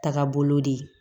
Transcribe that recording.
Taga bolo de